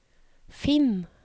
finn